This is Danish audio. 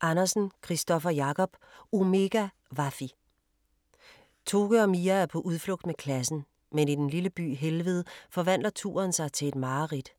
Andersen, Kristoffer Jacob: Omega Waffe Toke og Mia er på udflugt med klassen. Men i den lille by Helved forvandler turen sig til et mareridt.